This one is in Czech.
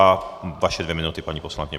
A vaše dvě minuty, paní poslankyně.